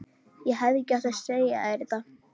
Ég hefði ekki átt að segja þér þetta.